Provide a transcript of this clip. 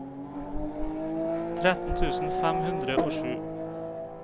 tretten tusen fem hundre og sju